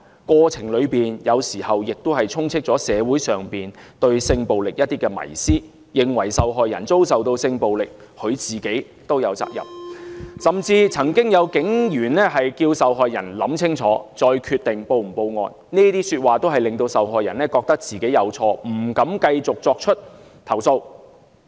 過程中，有時候也充斥着社會上對性暴力的迷思，認為受害人遭受性暴力，本身也有責任，甚至曾經有警員要求受害人想清楚，再決定是否報案，這些說話均令受害人覺得自己有錯，不敢繼續作出投訴。